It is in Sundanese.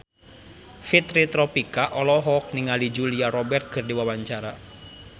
Fitri Tropika olohok ningali Julia Robert keur diwawancara